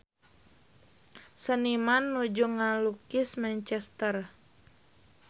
Seniman nuju ngalukis Manchester